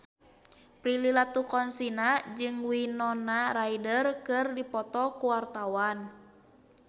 Prilly Latuconsina jeung Winona Ryder keur dipoto ku wartawan